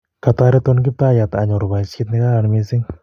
Katareton Kiptaiyat anyor poisyet ne kararan missing'